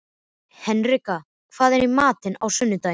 Henrika, hvað er í matinn á sunnudaginn?